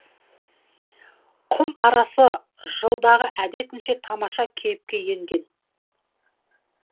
құм арасы жылдағы әдетінше тамаша кейіпке енген